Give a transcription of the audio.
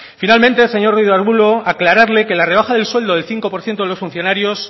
finalmente señor ruiz de arbulo aclararle que la rebaja del sueldo del cinco por ciento de los funcionarios